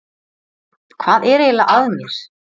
Hvað er eiginlega að mér?